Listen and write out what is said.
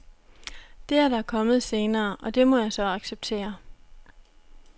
Det er der kommet senere, og det må jeg så acceptere.